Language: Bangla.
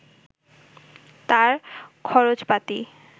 তাঁর খরচপাতি